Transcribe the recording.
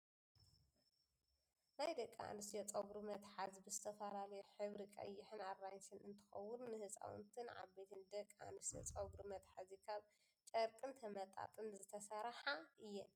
ናይ ደቂ ኣንስትዮ ፀጉሪ መትሓዚ ብዝተፈላለዩ ሕብሪ ቀይሕን ኣራንሽን እንትከውን፣ ንህፃውንትን ዓበይትን ደቂ ኣንስትዮ ፀጉሪ መትሓዚ ካብ ጨርቅን ተመጣጢን ዝተሰረሓ እዩ።